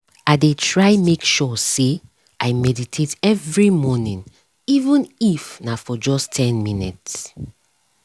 i dey try make sure say i meditate every morning even if na for just ten minutes